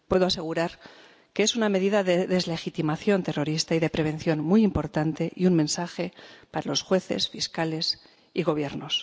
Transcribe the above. Puedo asegurar que es una medida de deslegitimación terrorista y de prevención muy importante y un mensaje para los jueces, fiscales y gobiernos.